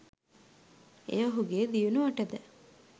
එය ඔහුගේ දියුණුවටද